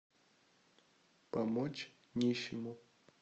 помочь нищему